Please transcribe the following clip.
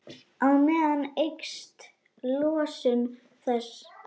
Á meðan eykst losun þess.